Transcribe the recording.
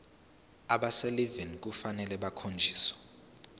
abaselivini kufanele bakhonjiswe